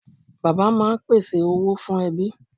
Bàbá máa ń pèsè owó fún ẹbí.